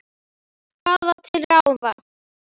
Hvað var til ráða?